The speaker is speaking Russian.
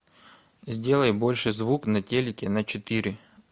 сделай больше звук на телике на четыре